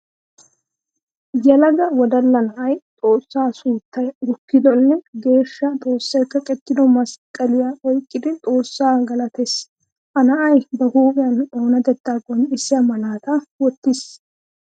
Yelaga wodalla na'ay xoosa suuttay gukkiddonne geeshsha xoosay kaqqettido masqqalliya oyqqiddi xoosa galatees. Ha na'ay ba huuphiyan oonatetta qonccissiya malataa wotiis.